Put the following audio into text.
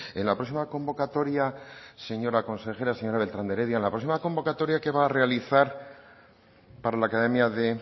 en la próxima convocatoria señora consejera señora beltrán de heredia en la próxima convocatoria que va a realizar para la academia de